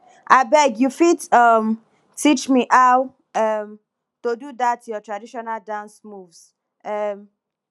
abeg you fit um teach me how um to do that your traditional dance moves um